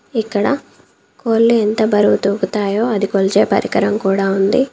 ఇక్కడ కోళ్ళు ఎంత బరువు తూగుతాయో అది కొలిచే పరికరం కూడా ఉంది.